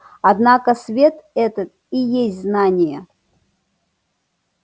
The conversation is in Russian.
однако свет этот и есть знание